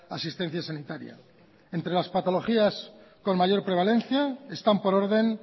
asistencia sanitaria entre las patologías con mayor prevalencia están por orden